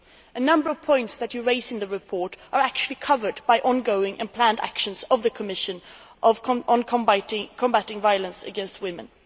A number of points that you raise in the report are actually covered by ongoing and planned actions of the Commission on combating violence against women.